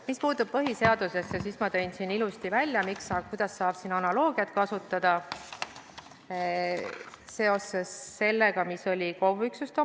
Mis puutub põhiseadusesse, siis ma tõin ilusti välja, kuidas saab siin kasutada analoogiat KOV-ide üksustega.